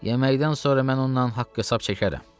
Yeməkdən sonra mən ondan haqq-hesab çəkərəm.